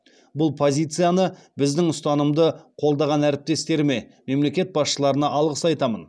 бұл позицияны біздің ұстанымды қолдаған әріптестеріме мемлекет басшыларына алғыс айтамын